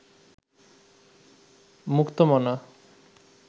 মুক্তমনা